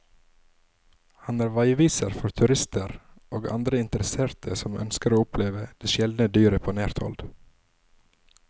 Han er veiviser for turister og andre interesserte som ønsker å oppleve det sjeldne dyret på nært hold.